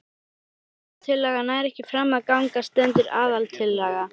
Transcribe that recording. Ef breytingatillaga nær ekki fram að ganga stendur aðaltillaga.